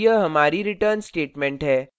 और यह हमारी return statement है